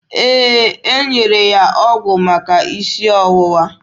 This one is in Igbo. Ee, e nyere ya ọgwụ maka isi ọwụwa.